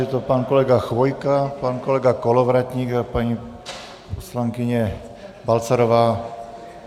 Je to pan kolega Chvojka, pan kolega Kolovratník a paní poslankyně Balcarová.